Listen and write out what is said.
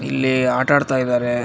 ಇಲ್ಲಿ ಆಟ ಆಡ್ತಾ ಇದಾರೆ .